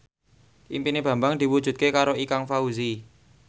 impine Bambang diwujudke karo Ikang Fawzi